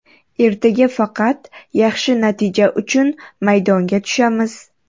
Ertaga faqat yaxshi natija uchun maydonga tushamiz.